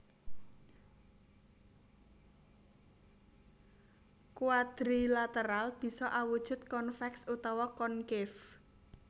Quadrilateral bisa awujud convex utawa concave